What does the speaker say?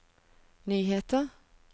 nyheter